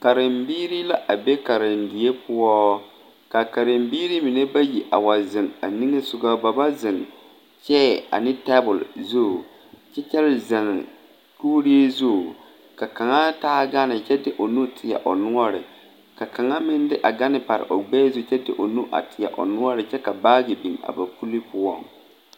Karembiiri la a be karedie poɔ, ka karembiiri mine bayi a wa zeŋ a niŋe sɔŋɔ, ba ba zeŋ 'chair' ane tabol zu, ka a zeŋ kuuri zu, ka kaŋa taa gane kyɛ de o nuu teɛ o noɔre, ka kaŋa meŋ de a gane pare o gbɛɛ zu kyɛ de o nu a teɛ o noɔre kyɛ ka baagi biŋ a o poliŋ poɔŋ.